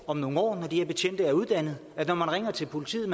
om nogle år når de her betjente er blevet uddannet at når man ringer til politiet